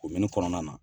Omin kɔnɔna na